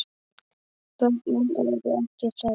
Börnin eru ekki hrædd.